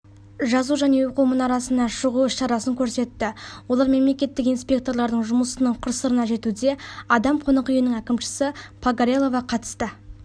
жазу және оқу мұнарасына шығу іс-шарасын көрсетті олар мемлекеттік инспекторлардың жұмысының қыр-сырына жетуде адам қонақ үйінің әкімшісі погорелова қатысты